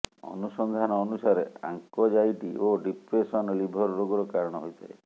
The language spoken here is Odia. ଅନୁସନ୍ଧାନ ଅନୁସାରେ ଆଙ୍କଯାଇଟି ଓ ଡିପ୍ରେସନ୍ ଲିଭର ରୋଗର କାରଣ ହୋଇଥାଏ